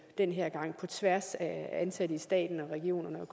den her gang på tværs af ansatte i staten regionerne